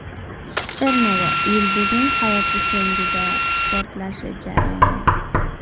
Supernova yulduzning hayoti so‘ngida portlashi jarayoni.